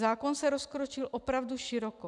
Zákon se rozkročil opravdu široko.